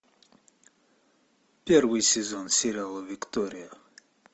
первый сезон сериала виктория